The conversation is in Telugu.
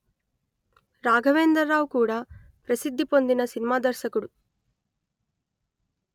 రాఘవేంద్రరావు కూడా ప్రసిద్ది పొందిన సినిమా దర్శకుడు